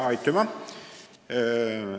Aitüma!